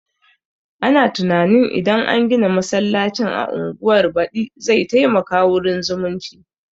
Ana tunanin idan an gina masallacin a unguwar badi zai taimaka wurin zumunci